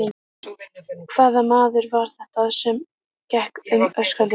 Hvaða maður var þetta sem gekk um öskrandi?